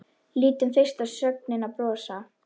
Lítum fyrst á sögnina brosa: